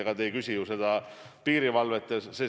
Ega te ei küsi ju piirivalve kohta.